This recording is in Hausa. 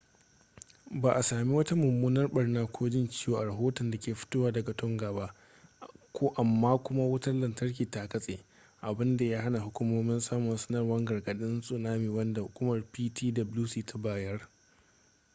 ba a sami wata mummunar barna ko jin ciwo a rahoton da ke fitowa daga tonga ba amma kuma wutar lantarki ta katse abinda ya hana hukumomi samun sanarwar gargadin tsunami wanda hukumar ptwc ta bayar